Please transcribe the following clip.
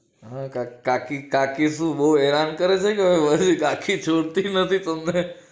કાકી કાકી શું બહુ હેરાન કરે છે કે કાકી છોડતી નથી તમને